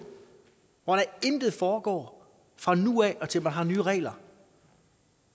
hvor der intet foregår fra nu af og til man har nye regler